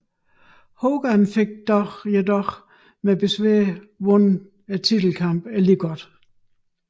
Hogan fik dog med besvær vundet titelkampen alligevel